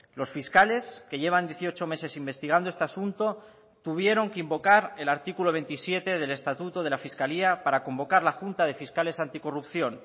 los fiscales que llevan dieciocho meses investigando este asunto tuvieron que invocar el artículo veintisiete del estatuto de la fiscalía para convocar la junta de fiscales anticorrupción